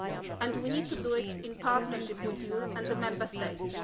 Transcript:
And we need to do it in partnership with you and the Member States.